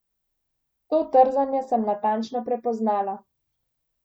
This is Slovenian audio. To trzanje sem natančno prepoznala.